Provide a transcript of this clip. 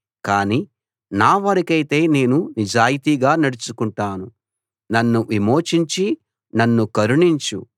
కాని నా వరకైతే నేను నిజాయితీగా నడుచుకుంటాను నన్ను విమోచించి నన్ను కరుణించు